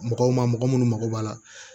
Mɔgɔw ma mɔgɔ minnu mago b'a la